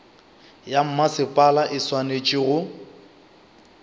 ya mmasepala e swanetše go